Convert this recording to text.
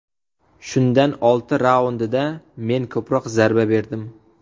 Shundan olti raundida men ko‘proq zarba berdim.